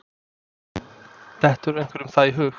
Dettur einhverjum það í hug?